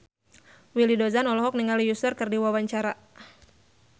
Willy Dozan olohok ningali Usher keur diwawancara